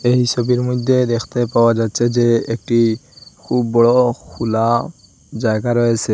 এই ছবির মইধ্যে দেখতে পাওয়া যাচ্ছে যে একটি খুব বড়ো খুলা জায়গা রয়েসে ।